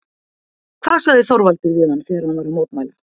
Hvað sagði Þorvaldur við hann þegar hann var að mótmæla?